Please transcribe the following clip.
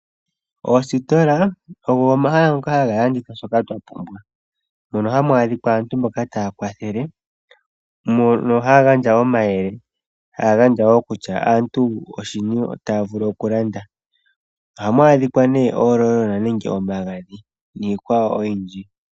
Oositola ogo omahala ngoka haga landitha shoka twapumbwa, mono hamu adhikwa aantu mboka taya kwathele mono haya gandja omayele, haya gandja wo kutya aantu oshini taya vulu okulanda. Ohamu adhika ne oololona nenge omagadhi, niikwawo oyindji.